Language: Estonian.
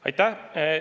Aitäh!